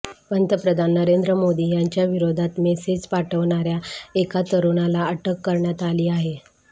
पंतप्रधान नरेंद्र मोदी यांच्या विरोधात मेसेज पाठवणाऱ्या एका तरूणाला अटक करण्यात आली आहे